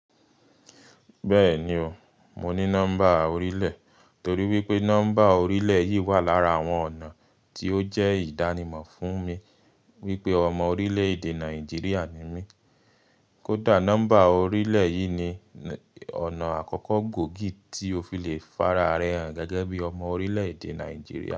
Bẹ́ẹ̀ni o, mo ní nọ́mbà orílẹ̀ torí wípé nọ́mbà orílẹ̀ yìí wà lára àwọn ọ̀nà tí ó jẹ́ ìdánimọ̀ fún mi wípé ọmọ orílẹ̀-èdè Nàìjíríà ni mí. Kódà nọ́mbà orílẹ̀ yìí ni ọ̀nà àkọ́kọ́ gòógì tí o fi le farare hàn gẹ́gẹ́ bí ọmọ orílẹ̀-èdè Nàìjíríà.